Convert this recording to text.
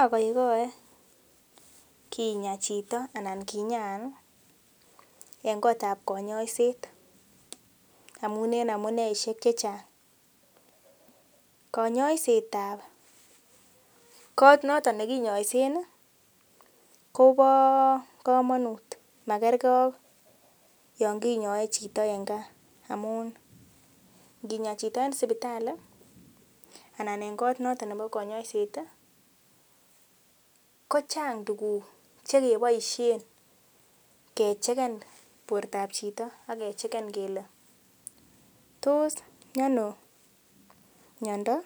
Agoigoe kinyaa chito anan kinyaan ih en kotab konyoiset amun en amuneisiek chechang konyoiset ab kot noton nekinyoisen kobo komonut makergee ak yon kinyoe chito en gaa amun nginyaa chito en sipitali anan en kot noton nebo konyoiset ih kochang tuguk chekeboisien kechegen bortab chito akechegen kele tos miono miondo